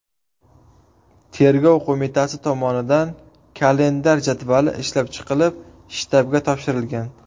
Tergov qo‘mitasi tomonidan kalendar jadvali ishlab chiqilib, shtabga topshirilgan.